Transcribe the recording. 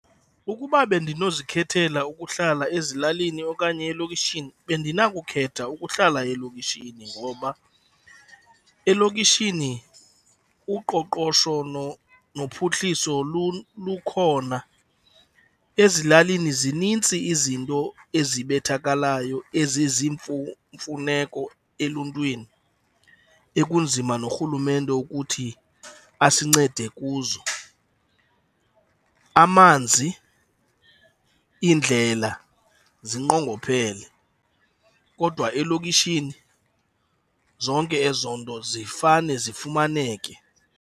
Ukuba bendinozikhenkethela ukuhlala ezilalini okanye elokishini, bendinakukhetha ukuhlala elokishini ngoba elokishini uqoqosho nophuhliso lukhona. Ezilalini zinintsi izinto ezibethakalayo mfuneko eluntwini ekunzima norhulumente ukuthi asincede kuzo. Amanzi, iindlela zinqongophele kodwa elokishini zonke ezo nto zifane zifumaneke.